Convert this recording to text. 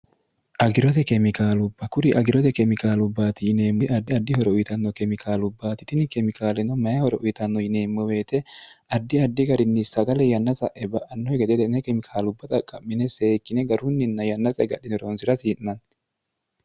agirote kemikaalubba kuri agirote kemikaalubbaati yineemmoi addi ardi horo uyitanno kemikaalubbaati tini kemikaaleno mayi horouyitanno yineemmo beete ardi addi garinni sagale yanna sa'e ba'annohe gededene kemikaalubba xaqqa'mine seekkine garunninna yanna saegadhine roonsi'rasi i'nanni